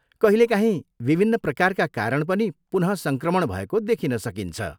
कहिलेकाहीँ विभिन्न प्रकारका कारण पनि पुनः सङ्क्रमण भएको देखिन सकिन्छ।